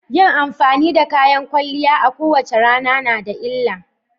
Yin amfani da kayan kwalliya a kowace rana na da illa.